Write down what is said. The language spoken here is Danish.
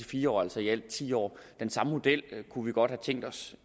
fire år altså i alt ti år den samme model kunne vi godt have tænkt os